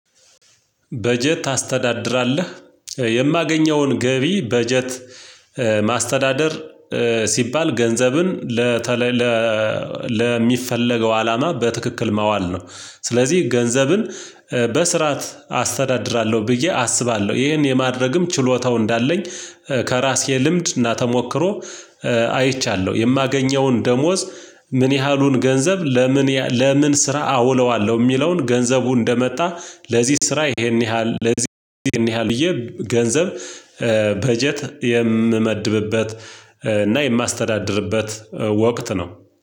በጀት ታስተዳድራለህ? የማገኘውን ገቢ በጀት ማስተዳደር ሲባል ገንዘብን ለተለየ ለሚፈለገው አላማ በትክክል መዋል ነው። ስለዚህ ገንዘብን በስርዓት አስተዳድራለሁ ብዬ አስባለሁ። ይሄን የማድረግም ችሎታው እንዳለኝ ከራሴ ልምድ እና ተሞክሮ አይቻለሁ። የማገኘውን ደሞዝ ምን ያህሉን ገንዘብ ለምን ለምን ስራ አውለዋለሁ የሚለውን ገንዘቡ እንደመጣ ለዚህ ስራ ይሄን ያህል ለዚህ ይሄን ያህል ብዬ ገንዘብ በጀት የምመድብበት እና የማስተዳድርበት ወቅት ነው።